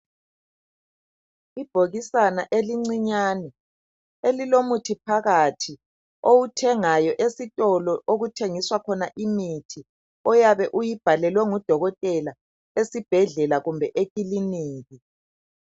Ibhokisana elincinyane elilomuthi phakathi owuthengayo esitolo okuthengiswa khona imithi oyabe uyibhalelwe ngudokotela esibhedlela kumbe ekilinika.